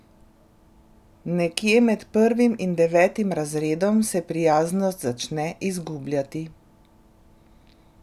Nekje med prvim in devetim razredom se prijaznost začne izgubljati.